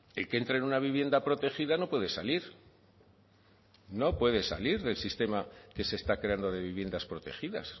el que entra en una vivienda protegida no puede salir no puede salir del sistema que se está creando de viviendas protegidas